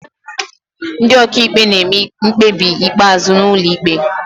Ndị ọkàikpe na-eme mkpebi ikpeazụ n'ụlọ ikpe